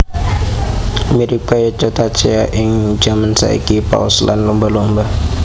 Mirip kaya cetacea ing jaman saiki paus lan lumba lumba